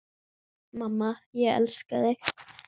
Mamma, ég elska þig.